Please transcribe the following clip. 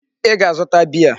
Ị ga-azụta beer!